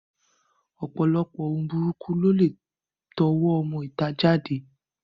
Ọ̀pọ̀lọpọ̀ ohun burúkú ló lè tọwọ́ ọmọ ìta jáde